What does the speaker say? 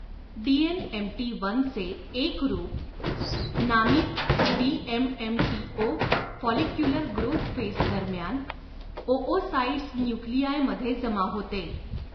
DNMT वनचे एक रूप नामित डीएमएमटीओ फॉलिक्युलर ग्रोथ फेस दरम्यान ओओसाइट्स न्यूक्लीआयमध्ये जमा होते.